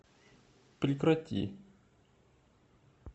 прекрати